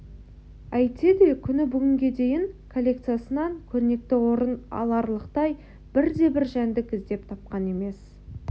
әйтсе де күні бүгінге дейін коллекциясынан көрнекті орын аларлықтай бірде-бір жәндік іздеп тапқан емес